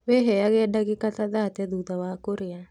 Wĩheage ndagĩka ta thate thutha wa kũrĩa